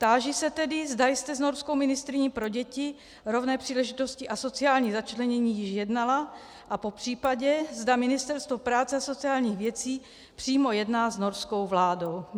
Táži se tedy, zda jste s norskou ministryní pro děti, rovné příležitosti a sociální začlenění již jednala a popřípadě zda Ministerstvo práce a sociálních věcí přímo jedná s norskou vládou.